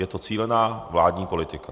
Je to cílená vládní politika.